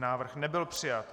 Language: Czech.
Návrh nebyl přijat.